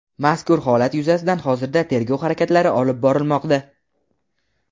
Mazkur holat yuzasidan hozirda tergov harakatlari olib borilmoqda.